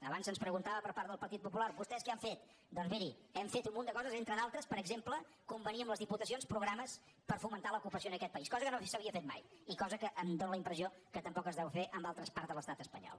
abans se’ns preguntava per part del partit popular vostès què han fet doncs miri hem fet un munt de coses entre d’altres per exemple convenir amb les diputacions programes per fomentar l’ocupació en aquest país cosa que no s’havia fet mai i cosa que em dóna la impressió que tampoc es deu fer en altres parts de l’estat espanyol